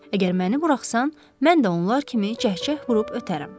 Əgər məni buraxsan, mən də onlar kimi cəhcəh vurub ötərəm.